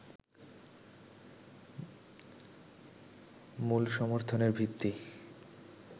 মূল সমর্থনের ভিত্তি